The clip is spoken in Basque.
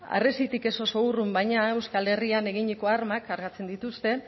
harresitik ez oso urrun baina euskal herrian eginiko armak kargatzen dituzte